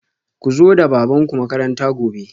Ku zo da babanku makaranta gobe